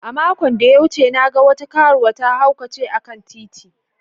Makon da ya wuce, na gan wata karuwa ta haukace a'kan titi.